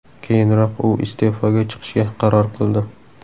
Keyinroq u iste’foga chiqishga qaror qildi.